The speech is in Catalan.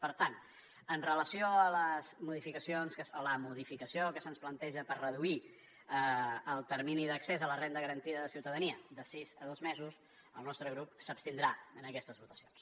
per tant amb relació a la modificació que se’ns planteja per reduir el termini d’accés a la renda garantida de ciutadania de sis a dos mesos el nostre grup s’abstindrà en aquestes votacions